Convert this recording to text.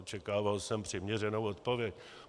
Očekával jsem přiměřenou odpověď.